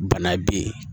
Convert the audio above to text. Bana be yen